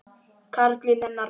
Karlinn hennar.